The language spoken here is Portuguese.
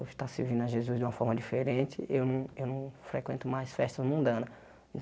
Hoje está servindo a Jesus de uma forma diferente, eu não eu não frequento mais festas mundanas.